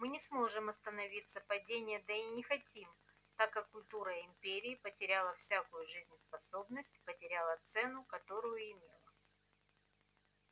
мы не сможем остановить падение да и не хотим так как культура империи потеряла всякую жизнеспособность потеряла цену которую имела